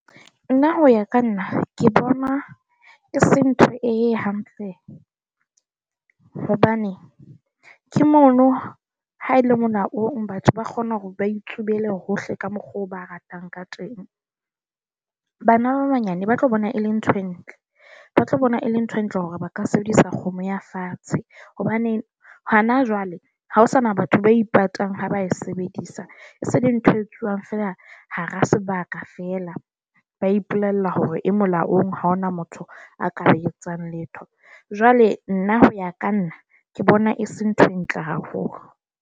Nna ho ya ka nna, ke bona e se ntho e hampe hobane ke mono ha e le mona batho ba kgona hore ba itshubele hohle ka mokgwa oo ba ratang ka teng. Bana ba banyane ba tlo bona e le ntho e ntle, ba tlo bona le ntho e ntle hore ba ka sebedisa kgomo ya fatshe hobane hona jwale ha ho sana batho ba ipatang ha ba e sebedisa. E se le ntho e etsuwang fela hara sebaka fela. Ba ipolella hore e molaong, ha hona motho a ka etsang letho. Jwale nna ho ya ka nna ke bona e se ntho e ntle haholo.